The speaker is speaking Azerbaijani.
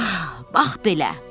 Bax belə.